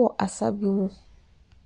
wɔ asa bi mu.